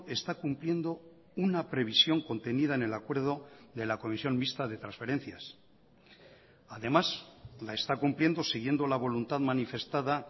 está cumpliendo una previsión contenida en el acuerdo de la comisión mixta de transferencias además la está cumpliendo siguiendo la voluntad manifestada